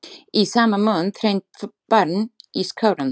Í sama mund hrein barn í skaranum.